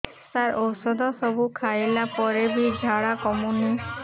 ସାର ଔଷଧ ସବୁ ଖାଇଲା ପରେ ବି ଝାଡା କମୁନି